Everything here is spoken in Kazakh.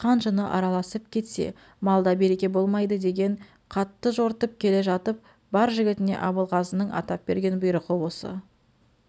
қан-жыны араласып кетсе малда береке болмайды деген қатты жортып келе жатып бар жігітіне абылғазының атап берген бұйрығы осы